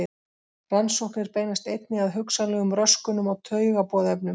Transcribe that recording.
Rannsóknir beinast einnig að hugsanlegum röskunum á taugaboðefnum.